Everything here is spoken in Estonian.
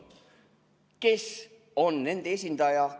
Kes on nende esindaja?